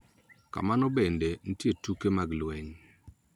Kamano bende, nitie tuke mag lweny .